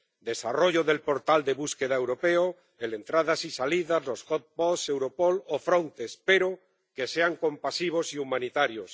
Desarrollo del portal de búsqueda europeo, el de entradas y salidas, los Europol o Frontex, pero que sean compasivos y humanitarios.